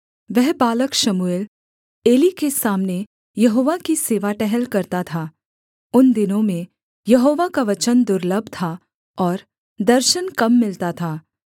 वह बालक शमूएल एली के सामने यहोवा की सेवा टहल करता था उन दिनों में यहोवा का वचन दुर्लभ था और दर्शन कम मिलता था